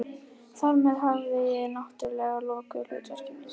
Þar með hafði ég- náttúrlega- lokið hlutverki mínu.